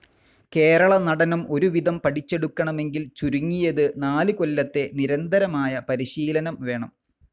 കേരള നടനം ഒരുവിധം പഠിച്ചെടുക്കണമെങ്കിൽ ചുരുങ്ങിയത്‌ നാല്‌ കൊല്ലത്തെ നിരന്തരമായ പരിശീലനം വേണം.